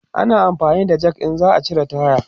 ana amfani da Jak in za'a cire taya